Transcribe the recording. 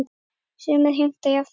Sumir heimta jafnvel